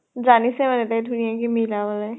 জানিছে মানে তাই ধুনীয়াকে মিলাবলৈ।